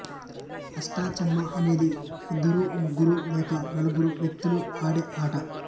అష్టా చెమ్మా అనేది ఇద్దరు ముగ్గురు లేక నలుగురు వ్యక్తులు ఆడే ఆట